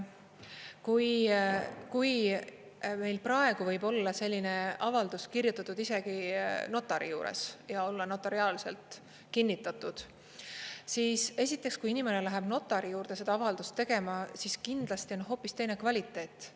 Kui meil praegu võib olla selline avaldus kirjutatud isegi notari juures ja olla notariaalselt kinnitatud, siis esiteks, kui inimene läheb notari juurde seda avaldust tegema, siis kindlasti on hoopis teine kvaliteet.